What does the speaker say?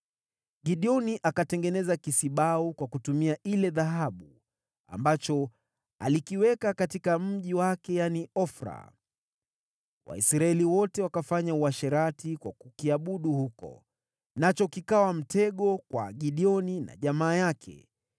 Gideoni akatengeneza kisibau kwa kutumia ile dhahabu, ambacho alikiweka katika mji wake, yaani, Ofra. Waisraeli wote wakafanya uasherati kwa kukiabudu huko, nacho kikawa mtego kwa Gideoni na jamaa yake.